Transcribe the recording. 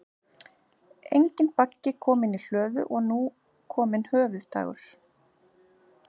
Enginn baggi kominn í hlöðu og nú kominn höfuðdagur.